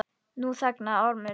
Nú þagnaði Ormur.